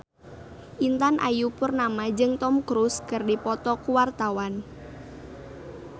Intan Ayu Purnama jeung Tom Cruise keur dipoto ku wartawan